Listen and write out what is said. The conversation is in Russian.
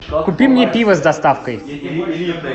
купи мне пиво с доставкой